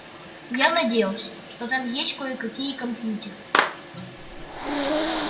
я надеялся что там есть кое-какие компьютеры